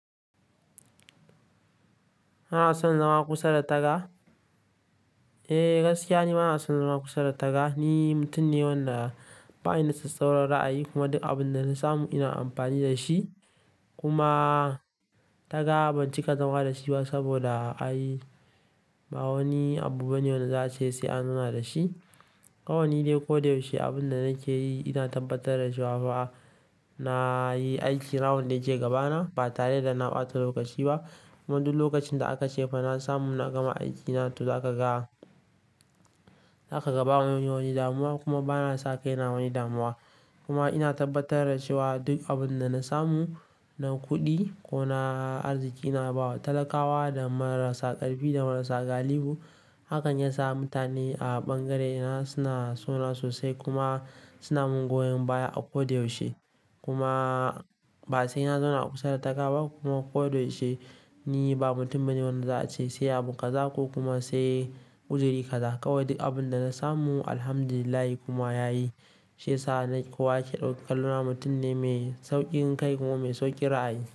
Ba na son zama kusa da taga. Eh, gaskiya ne ba na son zama kusa da taga. Ni mutum ne wanda ba ni da tattaunar ra'ayi kuma duk abin da na samu ina amfani da shi. Kuma taga ban cika zama da shi ba saboda ba wani abu bane wanda za a ce sai an zauna da shi. Kawai ni dai ko da yaushe abin da nake yi ina tabbatar da shi ba na yi aiki na wanda yake gabana ba tare da na ɓata lokaci ba kuma duk lokacin da aka ce fa na samu na gama aikina to za a ka ga. Zakaga ba wani damuwa, kuma bana sa kaina damuwa kuma ina tabbatar da cewa duk abin da na samu, na kuɗi ko na arziki ina bawa talakawa da marasa ƙarfi da marasa galihu. Hakan ya sa mutane a ɓangarena suna sona sosai kuma suna mun goyon baya a ko da yaushe. Kuma ba sai na zauna a kusa da taga ba kuma ko da yaushe ni ba mutum bane wanda za a ce sai abun ƙazako kuma sai uzuri ka za. Kawai duk abin da na samu Alhamdulillah kuma yayi shi ya sa na kuwa kyautar kaluna mutum ne mai sauƙin kai kuma mai sauƙin ra'ayi.